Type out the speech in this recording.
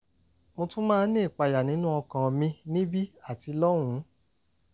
mo tún máa ń ní ìpayà nínú ọkàn mi níbí àti lọ́hùn-ún